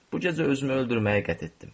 Bu gecə özümü öldürməyi qəsd etdim.